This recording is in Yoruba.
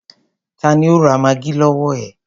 Tani ó ra maggi lọwọ ẹ?